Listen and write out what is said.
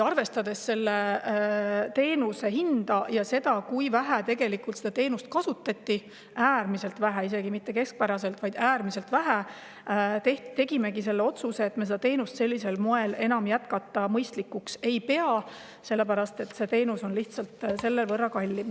Arvestades selle teenuse hinda ja seda, kui vähe tegelikult seda teenust kasutati – äärmiselt vähe, isegi mitte keskpäraselt, vaid äärmiselt vähe –, tegimegi selle otsuse, et me ei pea enam mõistlikuks seda teenust sellisel moel jätkata, sellepärast et see teenus on selle võrra lihtsalt kallim.